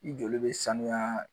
I joli bɛ sanuya